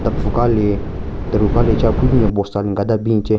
pfu ka le teru ka le che aphu binyon bosta le nka da bin che.